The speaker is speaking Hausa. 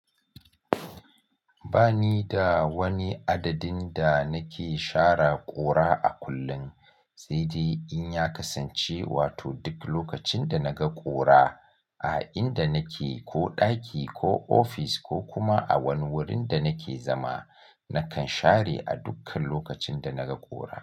Ba ni da wani adadin da nake share ƙura a kullum, sai dai in ya kasance wato duk lokacin da naga ƙura a inda nake, ko ɗaki, ko ofis ko kuma a wani wurin da nake zama, nakan share a dukkan lokacin da naga ƙura.